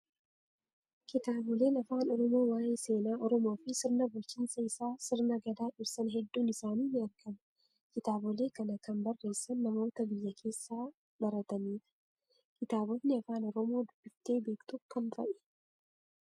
Kitaaboleen afaan oromoo waayee seenaa oromoo fi sirna bulchiinsa isaa sirna gadaa ibsan hedduun isaanii ni argamu. Kitaabolee kana kan barreessan namoota biyya keessaa baratanidha. Kitaabotni afaan oromoo dubbiftee beektu kam fa'ii?